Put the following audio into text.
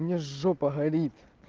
мне жопа горит